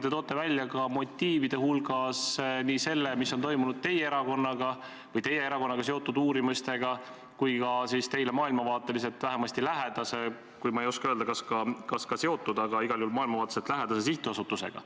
Te toote motiivide hulgas välja nii selle, mis on toimunud teie erakonnaga või teie erakonnaga seotud uurimistega, kui ka teile maailmavaateliselt vähemasti lähedase – ma ei oska öelda, kas teiega ka seotud, aga igal juhul maailmavaateliselt lähedase – sihtasutusega.